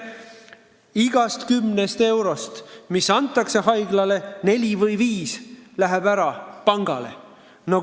Igast kümnest eurost, mis antakse haiglale, läheb neli või viis ära pangale.